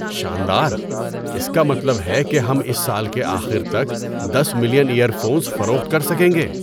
شاندار! اس کا مطلب ہے کہ ہم اس سال کے آخر تک دس ملین ایئر فونز فروخت کر سکیں گے!